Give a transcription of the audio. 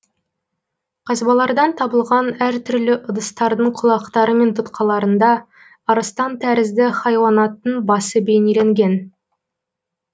қазбалардан табылған әр түрлі ыдыстардың құлақтары мен тұтқаларында арыстан тәрізді хайуанаттың басы бейнеленген